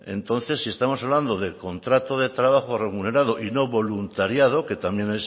entonces si estamos hablando de contrato de trabajo remunerado y no voluntariado que también